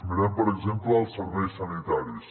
mirem per exemple els serveis sanitaris